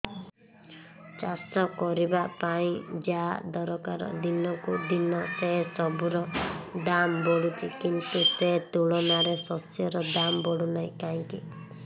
ଚାଷ କରିବା ପାଇଁ ଯାହା ଦରକାର ଦିନକୁ ଦିନ ସେସବୁ ର ଦାମ୍ ବଢୁଛି କିନ୍ତୁ ସେ ତୁଳନାରେ ଶସ୍ୟର ଦାମ୍ ବଢୁନାହିଁ କାହିଁକି